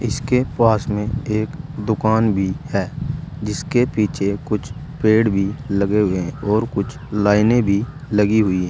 इसके पास में एक दुकान भी है जिसके पीछे कुछ पेड़ भी लगे हुए और कुछ लाइने भी लगी हुई है।